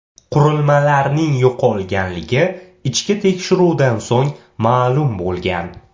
Qurilmalarning yo‘qolganligi ichki tekshiruvdan so‘ng ma’lum bo‘lgan.